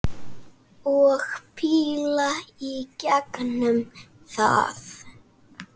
Og píla í gegnum það!